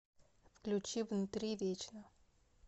включи внутри вечно